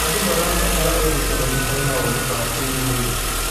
Andũ marabatara ũnyitanĩri harĩ maũndũ ma kĩrũrĩrĩ.